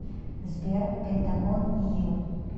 сбер пентагон и ю